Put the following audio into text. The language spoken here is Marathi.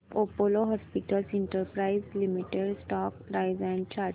Apollo hospitals enterprise limited stock price and chart